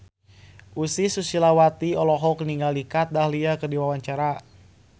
Ussy Sulistyawati olohok ningali Kat Dahlia keur diwawancara